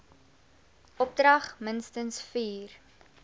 opdrag minstens vier